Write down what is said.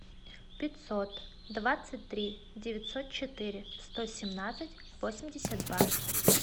пятьсот двадцать три девятьсот четыре сто семнадцать восемьдесят два